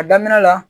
A daminɛ la